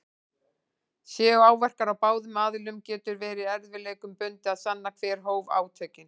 Séu áverkar á báðum aðilum getur verið erfiðleikum bundið að sanna hver hóf átökin.